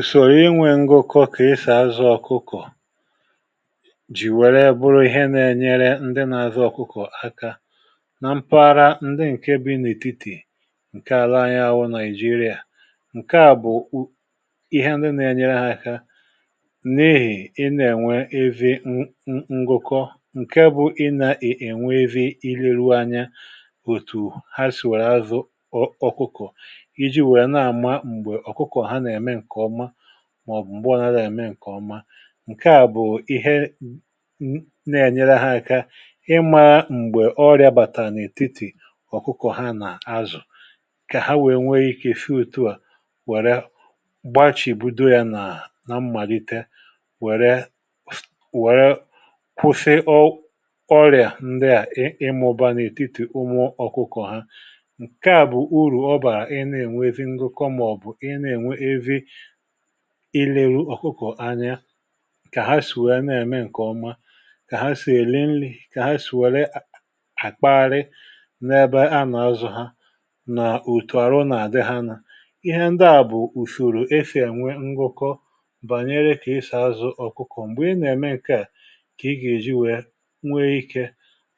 Ùsòrò inwė ngụkọ kà ịsà azụ ọkụkọ̀ jì wère bụrụ ihe nà-enyere ndị nà-azụ ọkụkọ̀ aka nà mpaghara ndị ǹke bi n’ètitì ǹke àla anyị wụ naịjirịà, ǹke à bụ̀ ihe ndị na-enyere ha aka n’ìhi ị nà-ènwe evi nngụkọ ǹke bụ̀ ị nà-ènwevi ileru anya òtù ha sìwèrè azụ ọkụkọ̀ iji̇ wèè na-àma m̀gbè ọkụkọ ha na-eme nke ọma maọbụ m̀gbe ọnadȧ à ème ǹkè ọma ǹke à bụ̀ ihe nà-ènyere ha aka ịmȧ m̀gbè ọrịa bàtà n’ètitì ọ̀kụkọ̀ ha nà-azụ̀ kà ha wèe nwee ikė sị otu à wère gbachì bido yȧ nà na mmàlite wère wéré kwụsị ọ ọrịà ndị à ịmụ̇ba n’ètitì ụmụ ọ̀kụkọ̀ ha ǹkè à bụ̀ urù ọ bàrà ị na-ènwevị ngụkọ maọ̀bụ ị na-enwevị ilėru̇ ọ̀kụkọ̀ anya kà ha sì wèe nà-ème ǹkè ọma kà ha sì èli nri,̇ kà ha sì wère àkpaharị n’ebe a nà-azụ̀ ha nà otù àrụ nà-àdị ha nà ihe ndị à bụ̀usoro esi ewe ngụkọ banyere ka esi azụ ọkụkọ. Mgbè ị nà-ème ǹkeà kà ị gà-èji wèe nwee ikė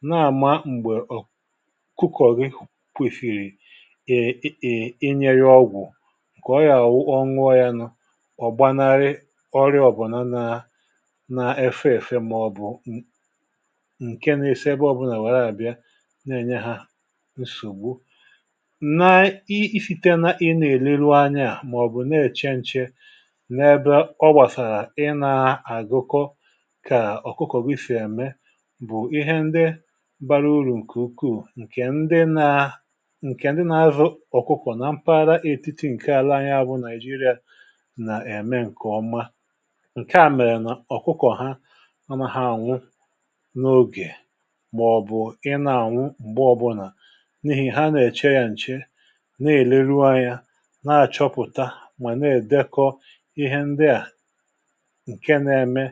na-àma m̀gbè ọ̀ kụkọ̀gị kwesịrị e ènye ya ọgwụ ka ọ ya awu ọ ṅụọ ya ọ̀ gbanarị ọrịa ọ̇ bụ̀ nà na-efe èfe màọ̀bụ̀ ǹke na-esi ebe ọ̇bụ̇là nwèe na-àbịa na-enye ha nsògbu, na-esite na ị na-eluru anya màọ̀bụ̀ na-èche nche n’ebe ọ gbàsàrà ị na-agụkọ kà ọ̀kụkọ̀ gị si ème bụ̀ ihe ndị bara urù ǹkè ukwuù ǹkè ndị na ǹkè ndị na-azụ ọ̀kụkụ̀ na mpara etiti ǹke àla anya bụ niajiria na-eme ǹke ọma, nkeà mèrè nà ọ̀kụkọ̀ ha anaha ànwụ n’ogè màọ̀bụ̀ ị na-ànwụ m̀gbe ọbụnà n’ihì ha nà-èche ya nche na-èleruȯ anya na-achọpụ̀ta mà na-èdekọ ihe ndị à ǹke na-eme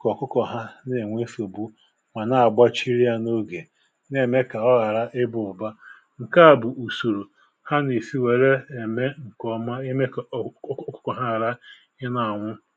kà ọ̀kụkọ̀ ha na-enwė nsogbu mà na-agbachiri ya n’ogè na-ème kà ọ ghàra ịbȧ ụ̀ba ǹke à bụ̀ ùsòrò ha nà-esi wère ème ǹkèọma ime kà ọkụkọ ha hara ị na-anwụ.